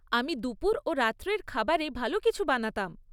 আমি দুপুর ও রাত্রের খাবারে ভাল কিছু বানাতাম।